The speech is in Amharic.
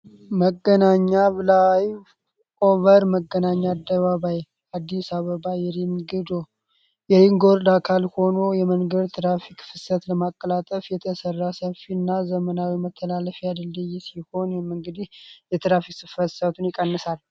መገናኛ ብላይቭ ኦቨር መገናኛ አደባባይ አዲስ አበባ የሪንጎርዶ አካል ሆኖ የመንገድ ትራፊክ ፍሰት ለማቀላጠፍ የተሰራ ሰፊ እና ዘመናዊ መተላለፊ አድልድይ ሲሆን የመእንግዲህ የትራፊክ ስፈተሳትን ይቀንሳል፡፡